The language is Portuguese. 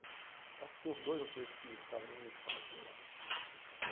Acho que tinha uns dois ou três que estudavam na mesma escola que eu lá.